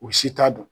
U si t'a dɔn